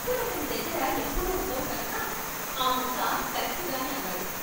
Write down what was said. డబ్బులు అతని దగ్గర ఎప్పుడూ ఉండవు కనుక ఆ ముక్క కరక్ట్ గానే అన్నాడు.